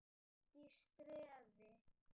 ERT Í STREÐI.